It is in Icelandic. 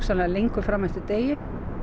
lengur fram eftir degi